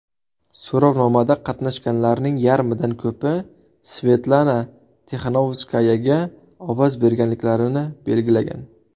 So‘rovnomada qatnashganlarning yarmidan ko‘pi Svetlana Tixanovskayaga ovoz berganliklarini belgilagan .